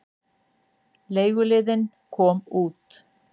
Leiguliðinn kom út.